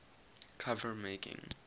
cover making